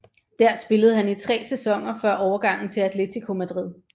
Der spillede han i tre sæsoner før overgangen til Atlético Madrid